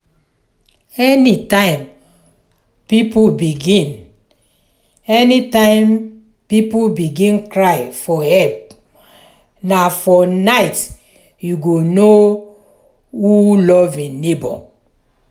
anytime pipo begin anytime pipo begin cry for help na for night you go know who love im neighbour.